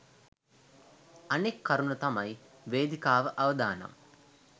අනෙක් කරුණ තමයි වේදිකාව අවදානම්